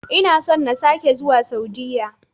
Ina son na sake zuwa Saudiya.